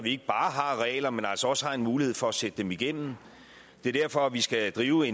ikke bare har regler men også har mulighed for at sætte dem igennem det er derfor vi skal drive